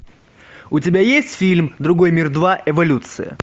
у тебя есть фильм другой мир два эволюция